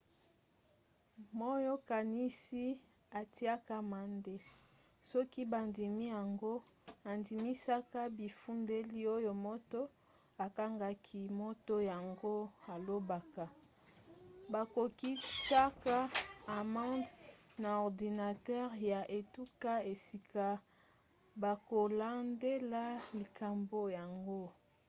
moyokanisi atiaka amande soki bandimi yango andimisaka bifundeli oyo moto akangaki moto yango alobaka. bakokitsaka amande na ordinatere ya etuka esika bakolandela likambo yango